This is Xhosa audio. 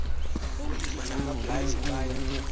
kulima namblanje baya